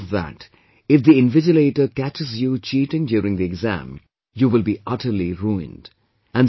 Over and above that, if the invigilator catches you cheating during the exam, you will be utterly ruined